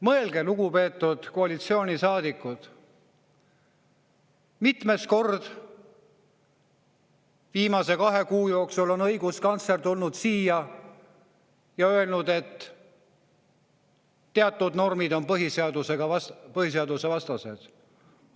Mõelge, lugupeetud koalitsioonisaadikud, mitu korda viimase kahe kuu jooksul on õiguskantsler tulnud siia ja öelnud, et teatud normid on põhiseadusvastased.